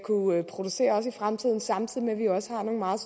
producere også i fremtiden samtidig med at vi også har nogle meget